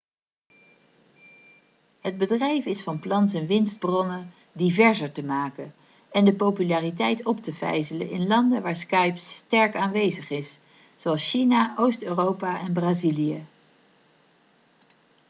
het bedrijf is van plan zijn winstbronnen diverser te maken en de populariteit op te vijzelen in landen waar skype sterk aanwezig is zoals china oost-europa en brazilië